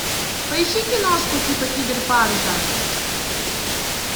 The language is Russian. поищи киношку типа киберпанка